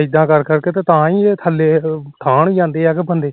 ਇਦਾ ਕਰ ਕਰਕੇ ਤਾ ਥੱਲੇ ਨੂੰ ਜਾਂਦੇ ਆ ਬੰਦੇ